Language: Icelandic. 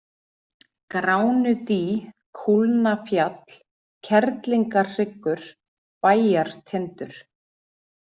Gránudý, Kúlnafjall, Kerlingarhryggur, Bæjartindur